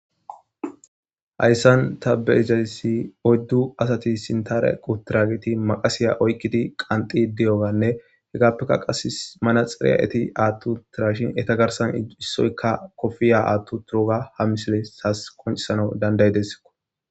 Hayssan ta beizayssi oyddu asati sintarequ tirageti maqasiya oykkidi qanxi deyoganne hegappeka qas mana xireya'eti aattu turashin eta garsan issoykka kofiya aattu turoga ha misile saas qonc'isanau dandaydesko.